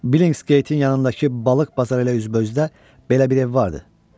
Billingsgate-in yanındakı balıq bazarı ilə üzbəüzdə belə bir ev vardı.